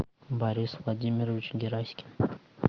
борис владимирович гераськин